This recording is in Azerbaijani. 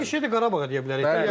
Eyni şeyi də Qarabağa deyə bilərik.